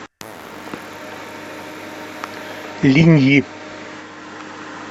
линьи